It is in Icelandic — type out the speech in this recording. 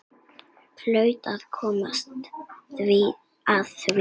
Hlaut að koma að því.